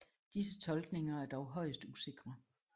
Disse tolkninger er dog højst usikre